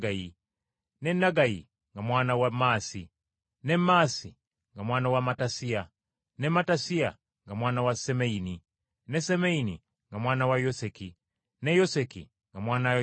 ne Naggayi nga mwana wa Maasi, ne Maasi nga mwana wa Mattasiya, ne Mattasiya nga mwana wa Semeyini, ne Semeyini nga mwana wa Yoseki, ne Yoseki nga mwana wa Yoda,